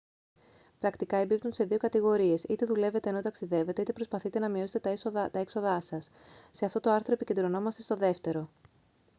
πρακτικά εμπίπτουν σε δύο κατηγορίες είτε δουλεύετε ενώ ταξιδεύετε είτε προσπαθείτε να μειώσετε τα έξοδά σας σε αυτό το άρθρο επικεντρωνόμαστε στο δεύτερο